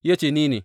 Ya ce, Ni ne.